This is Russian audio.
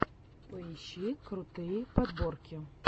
поищи крутые подборки